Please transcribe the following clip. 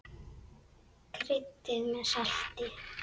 Kryddið með salti.